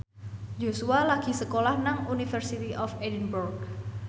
Joshua lagi sekolah nang University of Edinburgh